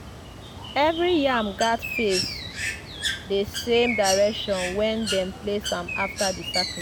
every yam gats face di same direction when dem place am after di sacrifice.